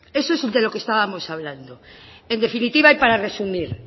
eso es de lo que estábamos hablando en definitiva y para resumir